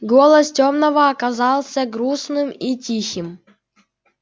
голос тёмного оказался грустным и тихим